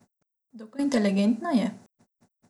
Dokaj inteligentna je.